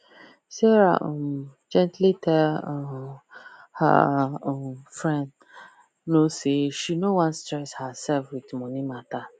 sarah um gently tell um her um friend no say she no wan stress her sef with money matter